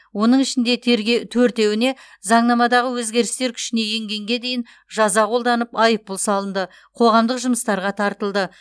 оның ішінде терге төртеуіне заңнамадағы өзгерістер күшіне енгенге дейін жаза қолданып айыппұл салынды қоғамдық жұмыстарға тартылды